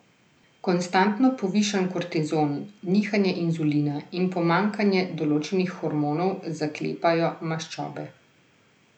Konstantno povišan kortizol, nihanje inzulina in pomanjkanje določenih hormonov zaklepajo maščobe.